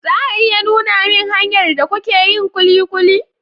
za a iya nuna min hanyar da kuke yin kulikuli?